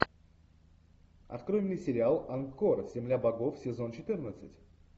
открой мне сериал ангкор земля богов сезон четырнадцать